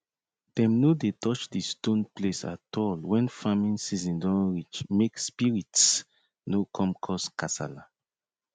dem no dey touch di stone place at all when farming season don reach make spirits no come cause kasala